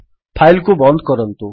file କୁ ବନ୍ଦ କରନ୍ତୁ